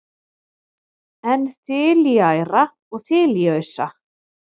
en þiliæra og þiliausa